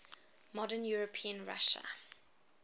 modern european russia